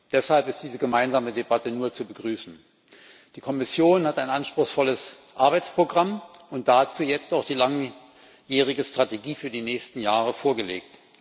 Deshalb ist diese gemeinsame Debatte nur zu begrüßen. Die Kommission hat ein anspruchsvolles Arbeitsprogramm und dazu jetzt auch die langjährige Strategie für die nächsten Jahre vorgelegt.